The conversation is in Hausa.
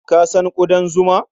Ka san ƙudan zuma?